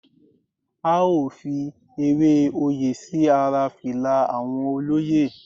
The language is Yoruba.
A ó fi Ewé oyè sí ara fìlà àwọn olóyè.